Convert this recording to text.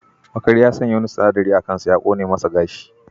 Makari ya sanya wani sinadari a kansa ya kone masa gashi.